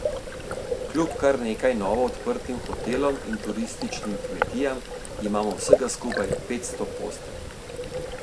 Kljub kar nekaj novo odprtim hotelom in turističnim kmetijam, imamo vsega skupaj petsto postelj.